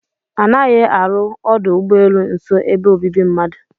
A naghị arụ ọdụ ụ́gbọ́elụ́ nso ebe obibi mmadu.